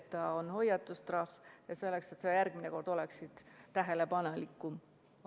See on hoiatustrahv, selleks et sa järgmine kord oleksid tähelepanelikum.